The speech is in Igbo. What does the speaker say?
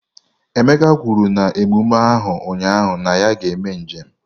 Emeka kwuru na emume ahụ ụnyaahụ na ya ga-eme njem.